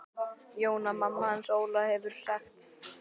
Jóna mamma hans Óla hefur sagt.